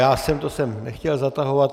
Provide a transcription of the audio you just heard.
Já jsem to sem nechtěl zatahovat.